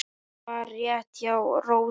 Það var rétt hjá Rósu.